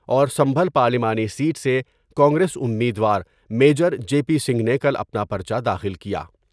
اورسمنجل پارلیمانی سیٹ سے کانگریس امیدوار میجر جے پی سنگھ نے کل اپنا پر چہ داخل کیا ۔